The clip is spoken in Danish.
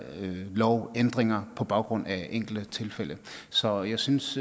lovændringer på baggrund af enkelte tilfælde så jeg synes